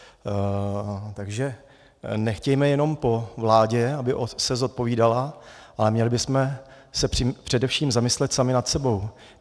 Takže nechtějme jenom po vládě, aby se zodpovídala, ale měli bychom se především zamyslet sami nad sebou.